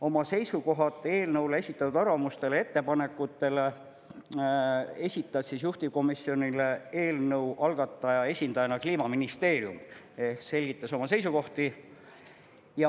Oma seisukohad eelnõule esitatud arvamustele, ettepanekutele esitas juhtivkomisjonile eelnõu algataja esindajana Kliimaministeerium ehk selgitas oma seisukohti.